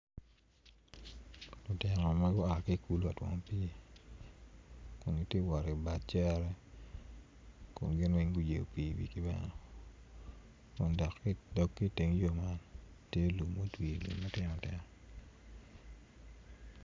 Lutino ma gua ki i kulu ka twomo pii kun giti wot ibad cere kun gin weng guyeyo pii iwigi bene dok ki iteng yo man tye lum mutwi bene matino tino.